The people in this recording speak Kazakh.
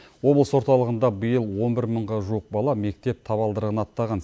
облыс орталығында биыл он бір мыңға жуық бала мектеп табалдырығын аттаған